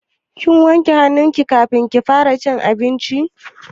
Kin wanke hannu ki kafin kika fara cin abinci?